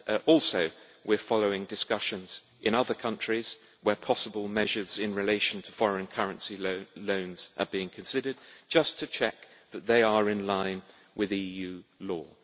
Also, we are following discussions in other countries where possible measures in relation to foreign currency loans are being considered, just to check that they are in line with EU law.